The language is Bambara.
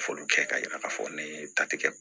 Foliw kɛ k'a yira k'a fɔ ne ye ta tigɛ